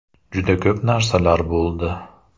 Juda ko‘p narsalar bo‘ldi.